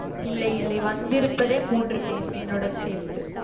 இல்லை இல்லை வந்திருப்பதே மூன்று பேரு என்னுடன் சேர்த்து